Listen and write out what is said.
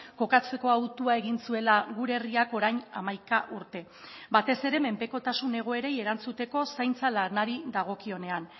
kokatzeko autua egin zuela gure herriak orain hamaika urte batez ere menpekotasun egoerei erantzuteko zaintza lanari dagokionean